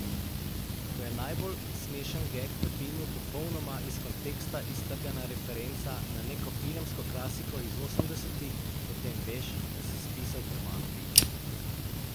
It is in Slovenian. Ko je najbolj smešen geg v filmu popolnoma iz konteksta iztrgana referenca na neko filmsko klasiko iz osemdesetih, potem veš, da si spisal premalo vicev.